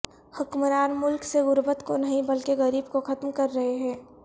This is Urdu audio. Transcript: حکمران ملک سےغربت کو نہیں بلکہ غریب کو ختم کررہے ہیں